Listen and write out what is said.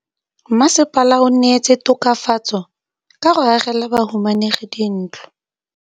Mmasepala o neetse tokafatsô ka go agela bahumanegi dintlo.